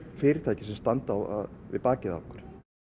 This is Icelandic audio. fyrirtæki sem standa við bakið á okkur